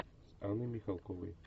с анной михалковой